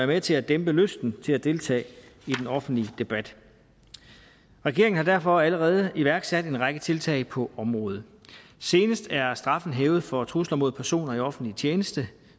med til at dæmpe lysten til at deltage i den offentlige debat regeringen har derfor allerede iværksat en række tiltag på området senest er straffen hævet for trusler mod personer i offentlig tjeneste